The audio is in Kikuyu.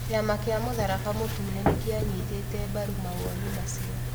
Kĩama kĩa mũtharaba mũtune nĩ kĩanyitĩte mbaru mawoni macio.